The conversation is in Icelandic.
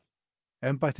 embætti